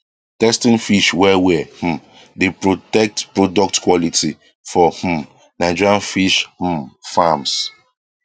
testing fish well well um dey protect product quality for um nigerian fish um farms